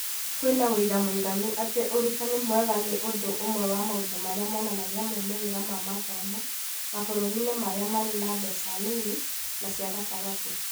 Kwĩna wĩira mũiganu atĩ ũrutani mwega nĩ ũndũ ũmwe wa maũndũ marĩa monanagia maumĩrĩra ma mathomo mabũrũri-inĩ marĩa marĩ na mbeca nini na cia gatagatĩ.